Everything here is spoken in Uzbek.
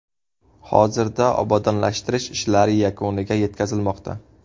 Hozirda obodonlashtirish ishlari yakuniga yetkazilmoqda.